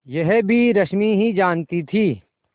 यह भी रश्मि ही जानती थी